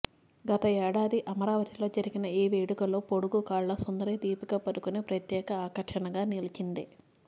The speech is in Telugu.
గత ఏడాది అమరావతిలో జరిగిన ఈ వేడుకలో పొడుగుకాళ్ల సుందరి దీపికా పదుకొనె ప్రత్యేక ఆకర్షణగా నిలిచింది